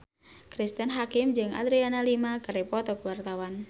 Cristine Hakim jeung Adriana Lima keur dipoto ku wartawan